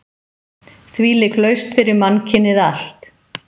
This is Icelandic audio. Þvílík lausn fyrir mannkynið allt!